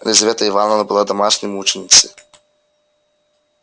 лизавета ивановна была домашней мученицею